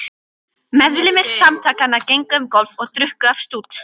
Meðlimir Samtakanna gengu um gólf og drukku af stút.